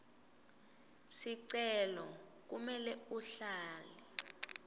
sicelo kumele uhlale